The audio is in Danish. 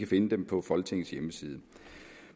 finde dem på folketingets hjemmeside